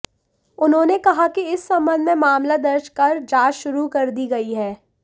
उन्होंने कहा कि इस संबंध में मामला दर्ज कर जांच शुरू कर दी गई है